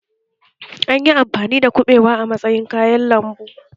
An yi amfani da kubewa a matsayin kayan lambu